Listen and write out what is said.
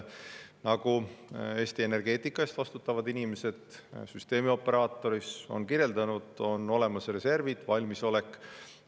Nagu Eesti energeetika eest vastutavad inimesed, süsteemioperaatorid, on kirjeldanud, on olemas reservid, valmisolek.